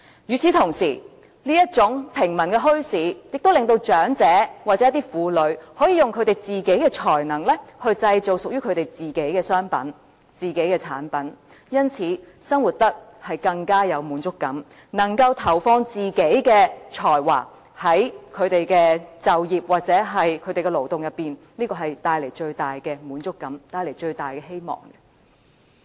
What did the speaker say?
與此同時，這種平民墟市亦令長者或婦女可以用自己的才能製造屬於自己的商品和產品，因而生活得更有滿足感，能夠投放自己的才華在他們的就業或勞動中，這會帶來最大的滿足感和希望。